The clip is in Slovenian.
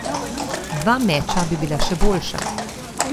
Dva meča bi bila še boljša.